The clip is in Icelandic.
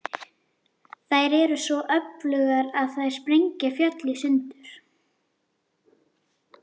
Þær eru svo öflugar að þær sprengja fjöll í sundur.